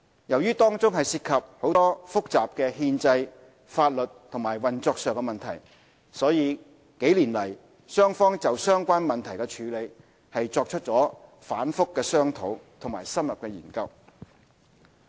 由於當中涉及很多複雜的憲制、法律和運作上的問題，所以數年來雙方就相關問題的處理作出了反覆商討和深入研究。